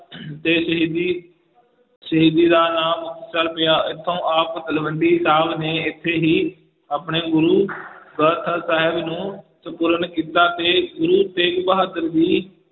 ਦੇ ਸ਼ਹੀਦੀ ਸ਼ਹੀਦੀ ਨਾਲ ਨਾਂ ਮੁਕਤਸਰ ਪਿਆ ਇੱਥੋਂ ਆਪ ਤਲਵੰਡੀ ਨੇ ਇੱਥੇ ਹੀ ਆਪਣੇ ਗੁਰੂ ਸਾਹਿਬ ਨੂੰ ਸਪੂਰਨ ਕੀਤਾ ਤੇ ਗੁਰੂ ਤੇਗ ਬਹਾਦਰ ਜੀ